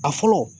A fɔlɔ